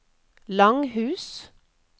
Langhus